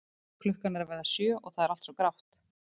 Klukkan er að verða sjö og það er allt svo grátt.